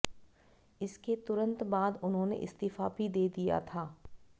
इसके तुरंत बाद उन्होंने इस्तीफा भी दे दिया था